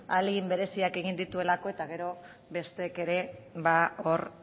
ahalegin bereziak egin dituelako eta gero besteek ere hor